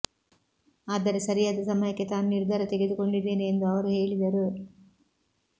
ಆದರೆ ಸರಿಯಾದ ಸಮಯಕ್ಕೆ ತಾನು ನಿರ್ಧಾರ ತೆಗೆದುಕೊಂಡಿದ್ದೇನೆ ಎಂದು ಅವರು ಹೇಳಿದರು